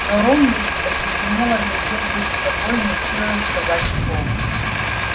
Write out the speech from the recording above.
но рон лишь оцепенело глядел перед собой не в силах сказать слова